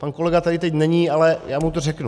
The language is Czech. Pan kolega tady teď není, ale já mu to řeknu.